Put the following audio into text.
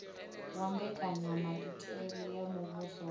wa mbekanyamaitele ya muvhuso wa